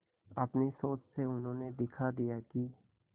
अपनी सोच से उन्होंने दिखा दिया कि